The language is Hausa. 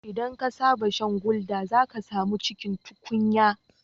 Idan ka saba shan gulder, zaka samu cikin tukunya